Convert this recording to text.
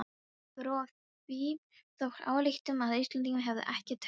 Dró af því þá ályktun að Íslendingar hefðu ekkert taugakerfi.